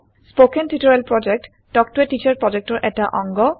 কথন শিক্ষণ প্ৰকল্প তাল্ক ত a টিচাৰ প্ৰকল্পৰ এটা অংগ